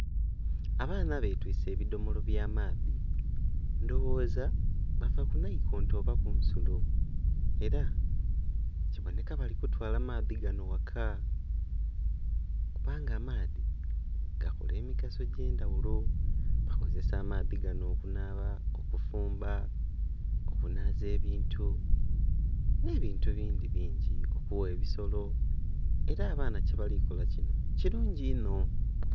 Abaana batwiise ebidhomolo bya amaadhi ndhoghoza bava ku naikonto oba ku nsulo era kiboneka bali kutwaala maadhi gano ghaka, kubanga amaadhi gakola emigaso egy'endhaghulo. Bakozesa amaadhi gano okunaaba, okufumba, okunhaza ebintu n'ebintu ebindhi bingi, okugha ebisolo. Era abaana kyebalikola kino kirungi inho.